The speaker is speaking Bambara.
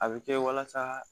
A bɛ kɛ walasa